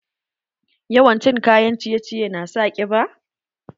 Yawan cin kayan ciye ciye na sa ƙiba?